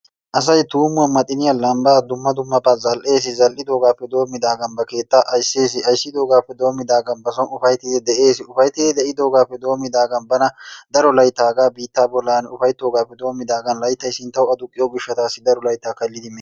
Asay tuumuwa ,maxiniyaa, lambbaa zal'ees. Zal'idoogaappe doomidaagan ba keettaa ayssees. Ayssidogaappe doomidaagan bawu ufayttidi de'ees. Ufayttidi de'idoogaappe doomidaagaan bana daro laytta hagaa biittaa bollan ufayttoogaappe doommidaagaan layttay sinttawu aduqqiyo gishshataassi daro laytta kallidi mees.